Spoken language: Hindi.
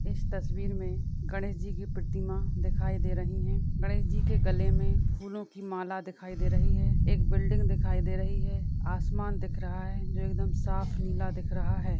इस तस्वीर में गणेश जी की प्रतिमा दिखाई दे रही है गणेश जी के गले में फूलों की माला दिखाई दे रही है एक बिल्डिंग दिखाई दे रही है आसमान दिख रहा है जो एकदम साफ़ नीला दिख रहा है।